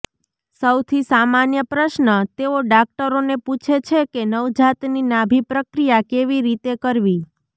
સૌથી સામાન્ય પ્રશ્ન તેઓ દાક્તરોને પૂછે છે કે નવજાતની નાભિ પ્રક્રિયા કેવી રીતે કરવી